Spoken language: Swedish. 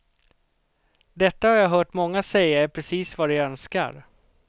Detta har jag hört många säga är precis vad de önskar.